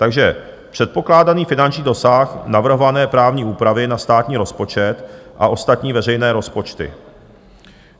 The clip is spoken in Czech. Takže předpokládaný finanční dosah navrhované právní úpravy na státní rozpočet a ostatní veřejné rozpočty.